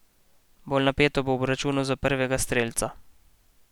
Bolj napeto bo v obračunu za prvega strelca.